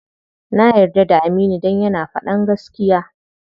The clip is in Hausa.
Na yarda da Aminu dan yana faɗan gaskiya.